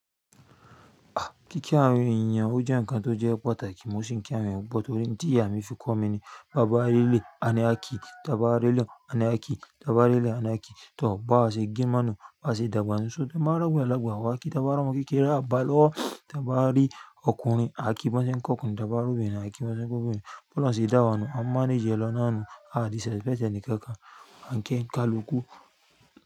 Ah! Kíki àwon eeyan o jẹ́ ǹkan tó jẹ́ pàtàkì mọ́ sì ń kí àwon eeyan pupo. Tí ìyà mí fi kọ́ mi ni: "ba ba ri eleyi à ní akí; ba ba r'eleyi, àní akí; bà bá réleyi àní akí." Tọ bàbá ṣe gí máa nu, bàbá ṣe dàgbà sísun, tọ bàbá rọ̀rún lẹ́gbàá. Wọ́n á kí dàbàá ọmọ kékeré, a bá lọ́ọ̀ dàbàá rí ọkùnrin, á kí bọ́ńsẹ̀ ń kọ́kun, dàbàá rú obìnrin, á kí bọ́ńsẹ̀ ń kún obìnrin. Bọ́lá sì dàgbà nu, a máa ní jẹ́lọ́ náà nu, a á di sẹ́pẹ́tà ní kẹ́kàá, a ń kí ń ká l'ògù.